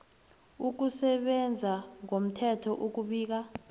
ukusebenza ngomthetho ukubika